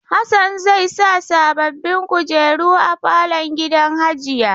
Hassan zai sa sababbin kujeru a falon gidan hajiya.